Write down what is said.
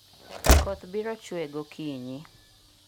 koth biro chue gokinyi